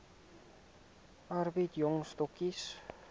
arbeid jong stokkies